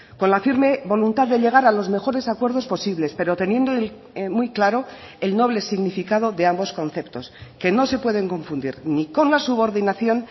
con la firme voluntad de llegar a los mejores acuerdos posibles pero teniendo muy claro el noble significado de ambos conceptos que no se pueden confundir ni con la subordinación